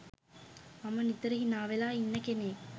මම නිතර හිනාවෙලා ඉන්න කෙනෙක්